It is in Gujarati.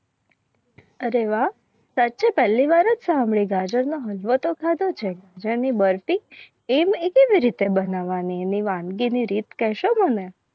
અરે વાહ સાચ્ચે પેહલી વાર જ સાંભળી ગાજર નો હાલવા તો ખાદુ છે. ગાજર ની બરફી એમ એ એવી રીતે બનાવવાની વાનગીની રીત કરશો. મને